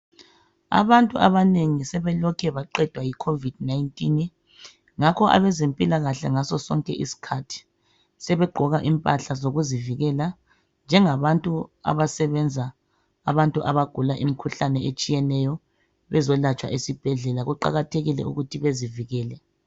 Abantu abanengi sebelokhe baqedwa yi covid 19 ngakho abezempilakahle ngasosonke isikhathi sebegqoka impahla zokuzivikela njengabantu abasebenza abantu abagula imikhuhlane etshiyeneyo bezolatshwa esibhedlela kuqakathekile ukuthi bezivikele.